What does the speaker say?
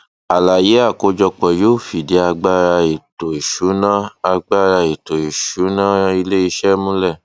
àlàyé àkójọpọ yóò fìdí agbára ètò ìsúná agbára ètò ìsúná iléìṣẹ múlẹ